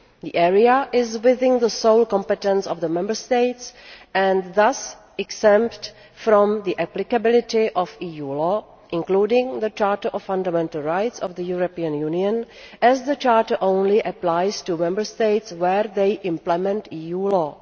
The area is within the sole competence of the Member States and thus exempt from the applicability of EU law, including the Charter of Fundamental Rights of the European Union as the Charter only applies to Member States where they implement EU law.